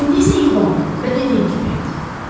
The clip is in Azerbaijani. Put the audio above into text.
İndi isə yubanma və dediyim kimi et.